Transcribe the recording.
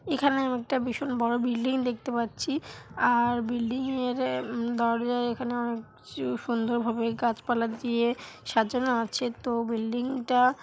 এখানে একটা ভীষণ বড়ো বিল্ডিং দেখতে পাচ্ছি আর বিল্ডিং -এর অ্যা উম দরজার এখানে অনেক কিছু সুন্দর ভাবে গাছপালা দিয়ে সাজানো আছে। তো বিল্ডিং -টা--